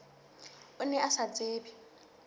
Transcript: o ne o sa tsebe